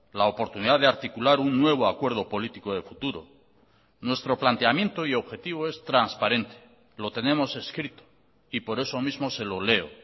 la oportunidad de articular un nuevo acuerdo político de futuro nuestro planteamiento y objetivo es transparente lo tenemos escrito y por eso mismo se lo leo